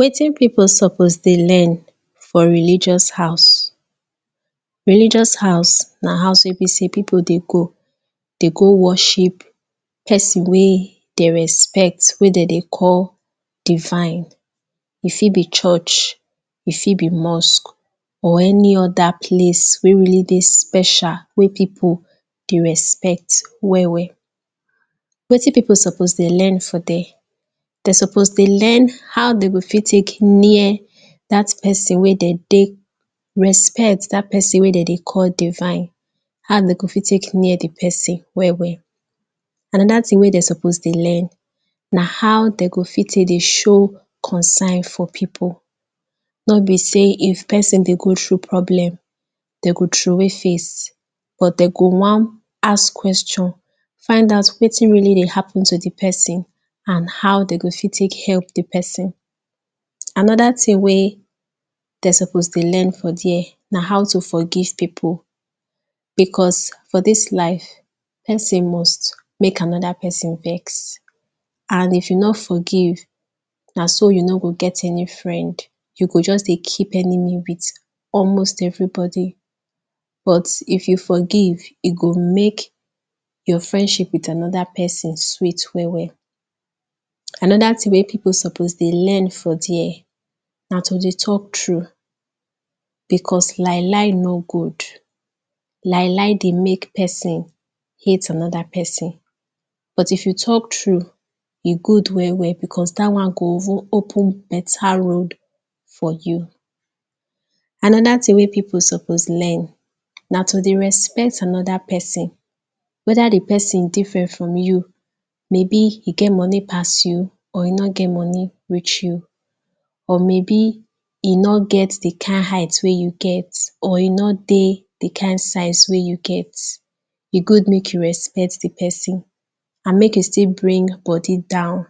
Wetin people suppose dey learn for religious house Religious house na house wey be sey people dey go dey go worship person wey dem respect, wey dem dey call divine E fit be church, e fit be mosque or any other place wey really dey special, wey people dey respect well well Wetin people suppose dey learn for there? Dem suppose dey learn how dem go fit tek near dat person wey dem dey respect, dat person wey dem dey call Divine how dem go fit tek near di person well well Another thing wey dem suppose dey learn na how dem go fit tek dey show concern for people nor be sey if person dey go through problem, dem go throwey face, but dem go wan ask questions find out wetin really dey happen to the person and how dem go fit tek help di person Another thing wey dem suppose dey learn for there na how to forgive people Because for dis life, person must mek another person vex, and if you no forgive, na so you no go get any friend You go just dey keep enemy with almost everybody But, if you forgive, e go mek your friendship with another person sweet well well Another thing wey people suppose dey learn for there na to dey talk true Because lie lie no good Lie lie dey mek person hate another person But if you talk true, e good well well because dat one go even open beta road for you Another thing wey people suppose learn na to dey respect another person Whether di person different from you, maybe e get money pass you, or e no get money reach you or maybe e no get di kind height wey you get, or e no dey the kind size wey you get e good mek you respect di person And mek you still bring bodi down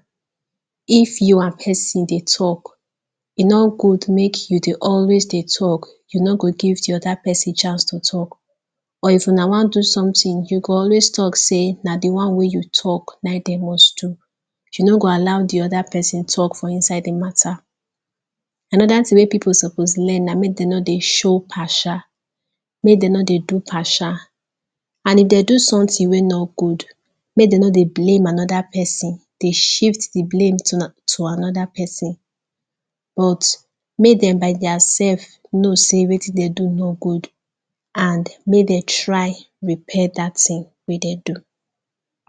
if you and person dey talk E nor good mek you dey always dey talk, you no go give di other person chance to talk Or if una wan do something, you go always talk sey na fi one wey you talk naim dem must do You no go allow di oda person talk for inside di mata Another thing wey people suppose learn na mek dem no dey show partia mek dem no dey do partia And if dem do something wey no good mek dem no dey blame anoda person, dey shift di blame to another person But, mek dem by their self know sey wetin dem do no good, and mek dem try repair dat thing wey dem do